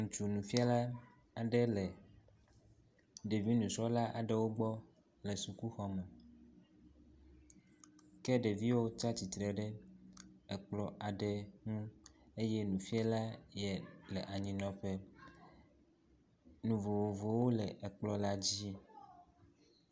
Ŋutsu nufiala aɖe le ɖevi nysrɔ̃la aɖewo gbɔ le sukuxɔme. Ke ɖeviwo tsi atsitre ɖe ekplɔ aɖe ŋu eye nufiala yea le anyinɔƒe. Nu vovovowo le ekplɔ la dzi.